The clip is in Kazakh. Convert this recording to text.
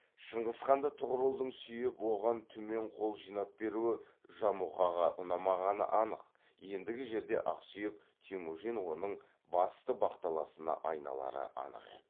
шыңғысханды тұғырылдың сүйеп оған түмен қол жинап беруі жамұқаға ұнамағаны анық ендігі жерде ақсүйек темужін оның басты бақталасына айналары анық еді